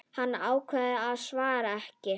Hann ákveður að svara ekki.